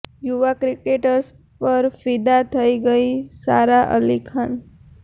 યુવા ક્રેકટર પર ફિદા થઈ ગઈ સારા અલી ખાન